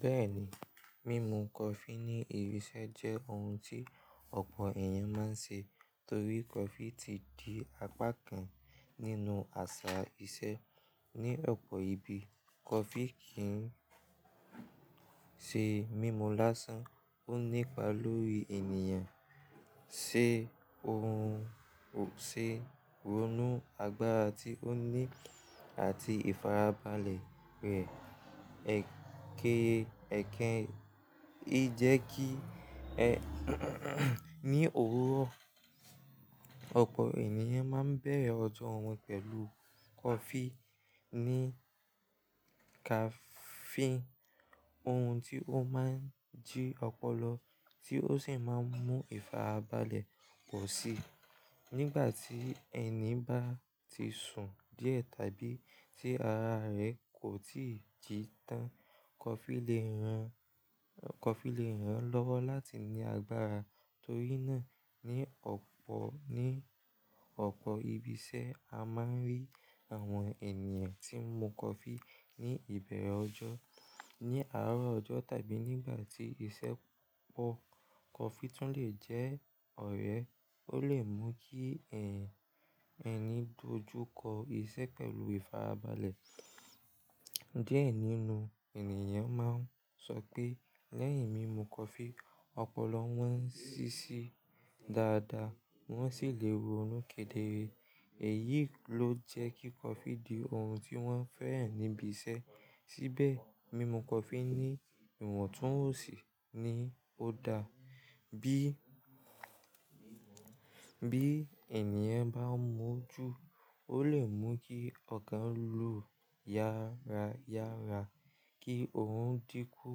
Bẹ́ẹ̀ni, mímu coffee ní ibi iṣẹ́ jẹ́ ohun tí ọ̀pọ̀ èèyàn máa ń se torí coffee ti di apá kan nínú àṣà iṣẹ́ ní ọ̀pọ̀ ibi. Coffee kì ń ṣe mímu lásán, ó nípa lórí ènìyàn ṣe ohun, ṣe ronú, agbára tí ó ní àti ìfarabalẹ̀ rẹ̀. Ẹ̀kẹ, ẹ̀kẹ, í jẹ́ kí ní òwúrọ̀, ọ̀pọ̀ ènìyàn máa ń bẹ̀rẹ̀ ọjọ́ wọn pẹ̀lú coffee ní caffeine, ohun tí ó máa ń jí ọpọlọ tí ó sì máa ń mú ìfarabalẹ̀ pọ̀ sí i. Nígbà tí ẹni bá ti sùn díẹ̀ tàbí tí ara rẹ̀ kò tíì jí tán, coffee lè ran, coffee lè ran lọ́wọ́ láti ní agbára. Torí náà, ní ọ̀pọ̀, ní ọ̀pọ̀ ibi iṣẹ́ a máa ń rí àwọn ènìyàn tí ń mu coffee ní ìbẹ̀rẹ̀ ọjọ́, ní àárọ̀ ọjọ́ tàbí nígbà tí iṣẹ́ pọ̀. Coffee tún lè jẹ́ ọ̀rẹ́, ó lè mú kí ẹ̀n, ẹ̀ni dojú kọ iṣẹ́ pẹ̀lú ìfarabalẹ̀. Díẹ̀ nínú ènìyàn máa ń sọ pé lẹ́yìn mímu coffee, ọpọlọ wọn ń ṣíṣí dáadáa wọ́n sì lè ronú kedere. Èyí ló jẹ́ kí coffee di ohun tí wọ́n fẹ́ràn níbi iṣẹ́. Síbẹ̀, mímu coffee ní ìwọ̀ntúnwònsì ni ó da. Bí, bí ènìyàn bá mu ú jù, ó lè mú kí ọ̀kàn lò yára yára, kí òun dínkú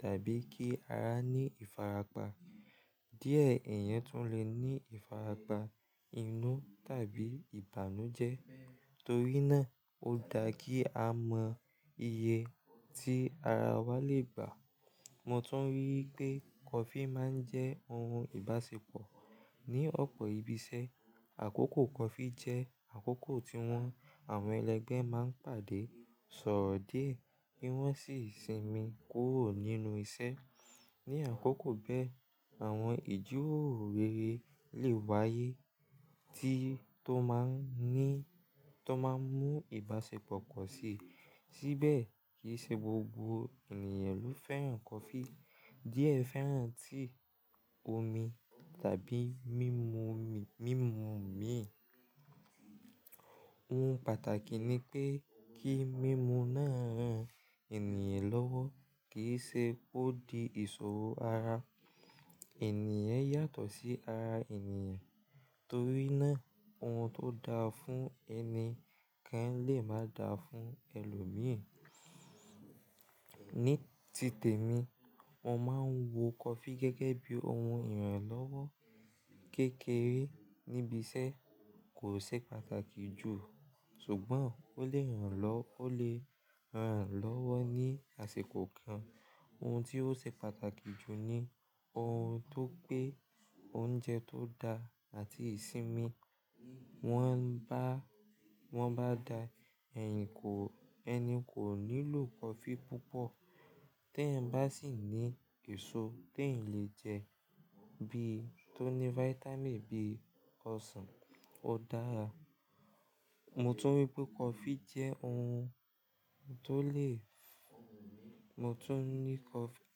tàbí kí ara ní ìfarapa. Díẹ̀ èèyàn tún lè ní ìfarapa inú tàbí ìbànújẹ́. Torí náà, ó da kí a mọ iye tí ara wa lè gbà. Mo tún rí i pé coffee máa ń jẹ́ ohun ìbáṣepọ̀ ní ọ̀pọ̀ ibi iṣẹ́. Àkókò coffee jẹ́ àkókò tí wọ́n, àwọn ẹlẹgbẹ́ máa ń pàdé, sọ̀rọ̀ dé kí wọ́n sì sinmi kúrò nínú iṣẹ́. Ni àkókò bẹ́ẹ̀, àwọn ìjíròrò rere lè wáyé tí tó máa ń ní, tó máa ń mú ìbáṣepọ̀ pọ̀ sí i. Síbẹ̀ kí i ṣe gbogbo ènìyàn ló fẹ́ràn coffee. Díẹ̀ fẹ́ràn tea omi tàbí mímu omi, mímu omi. Ohun pàtàkì ni pé kí mímu náà ran ènìyàn lọ́wọ́ kì í ṣe kó di ìṣòro ara. Ẹ̀níyàn yàtọ̀ sí ara ènìyàn, torí náà ohun tó da fún ẹni kan lè má dà fún ẹlòmíi. Ní tìtẹ̀ mi, mo máa ń wo coffee gẹ́gẹ́ bí ohun ìrànlọ́wọ́ kékeré níbi iṣẹ́, kò ṣe pàtàkì jù. Ṣùgbọ́n ó lè ran lọ́, ó lè ran lọ́wọ́ ní àsìkò kan. Ohun tí ó ṣe pàtàkì jù ni ohun tó pé oúnjẹ tó da àti ìsinmi. Wọ́n bá, wọ́n bá da, ẹ̀yìn kò, ẹni kò nílò coffee púpọ̀. Tẹ́ ẹ bá sì ní èso tí ẹ lè jẹ bí i tó ní vitamin bíi ọsàn, ó dára. Mo tún rí i pé coffee jẹ́ ohun tó lè, mo tún ní coffee,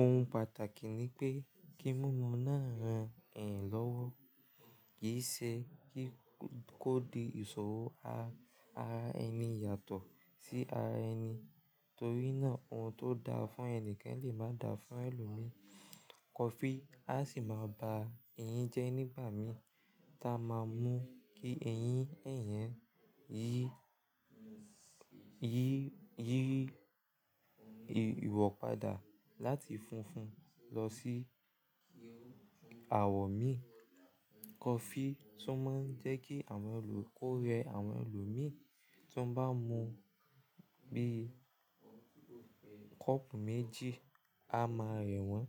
ohun pàtàkì ni pé kí mímu náà ran ẹ̀yan lọ́wọ́ kì í ṣe kí kó di ìṣòro. Ara ẹni yàtọ̀ sí ara ẹni, torí náà ohun tó da fún ẹni kan lè má dà fún ẹlòmíi. Coffee a sì máa bá eyín jẹ́ nígbà mìí táa máa mú kí eyín, èèyàn yí, yí, yí ìwọ̀padà láti funfun lọ sí àwọ̀ mí. Coffee tún máa ń jẹ́ kí àwọn ẹlò, ó rẹ àwọn ẹlòmíràn tí wọ́n bá mu bí i kọ́ọ̀pù méjì, a máa rẹ̀ wọ́n.